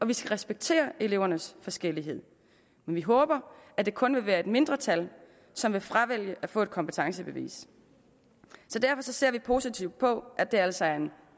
vi skal respektere elevernes forskellighed men vi håber at det kun vil være et mindretal som vil fravælge at få et kompetencebevis så derfor ser vi positivt på at det altså er en